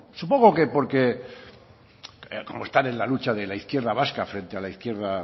supongo que porque como están en la lucha de la izquierda vasca frente a la izquierda